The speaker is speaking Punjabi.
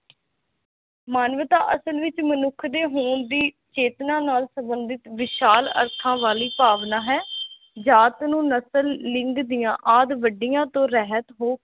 ਮਾਨਵਤਾ ਅਸਲ ਵਿਚ ਮਨੁਖ ਦੇ ਹੋਂਦ ਦੀ ਚੇਤਨਾ ਨਾਲ ਸੰਬਧਿਤ ਵਿਸ਼ਾਲ ਅਰਥਾ ਵਾਲੀ ਭਾਵਨਾ ਹੇ ਜਾਤ ਨੂੰ ਨਸਲ ਲਿੰਗ ਦੀਆ ਆਦ ਵਡਿਆ ਤੋ ਰਹਿਤ ਹੋ